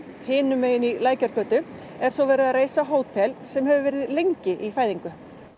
hinum megin í Lækjargötunni er svo verið að reisa hótel sem hefur verið lengi í fæðingu